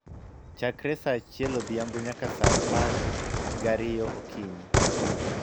chakre saa achiel odhiambo nyaka saa apar gariyo okinyi.